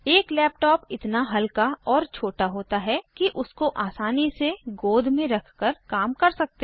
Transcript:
एक लैपटॉप इतना हल्का और छोटा होता है कि उसको आसानी से गोद में रखकर काम कर सकते हैं